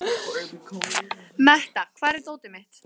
Metta, hvar er dótið mitt?